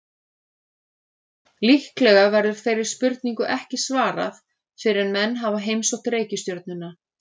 Líklega verður þeirri spurningu ekki svarað fyrr en menn hafa heimsótt reikistjörnuna.